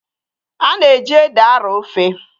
A na-eji ede arọọ ofe.